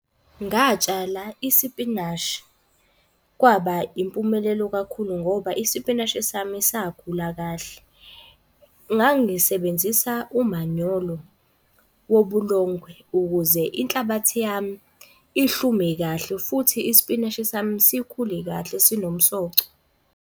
Ngatshala isipinashi kwaba impumelelo kakhulu ngoba isipinashi sami sakhula kahle. Ngangisebenzisa umanyolo wobulongwe, ukuze inhlabathi yami ihlume kahle. Futhi isipinashi sami sikhule kahle sinomsoco.